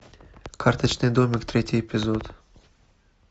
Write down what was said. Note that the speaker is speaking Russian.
карточный домик третий эпизод